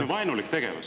See on vaenulik tegevus.